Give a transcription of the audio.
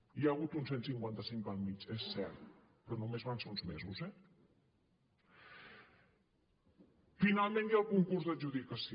hi ha hagut un cent i cinquanta cinc pel mig és cert però només van ser uns mesos eh finalment hi ha el concurs d’adjudicació